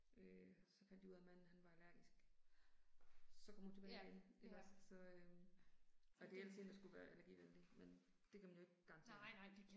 Øh og så fandt de ud af manden han var allergisk. Så kom hun tilbage igen, ikke også. Så øh. Og det er ellers sådan én der skulle være allergivenlig, men det kan man jo ikke garantere